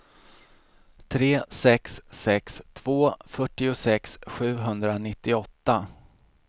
tre sex sex två fyrtiosex sjuhundranittioåtta